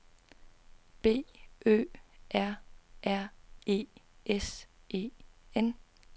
B Ø R R E S E N